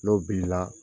N'o bili la